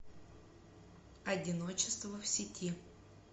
одиночество в сети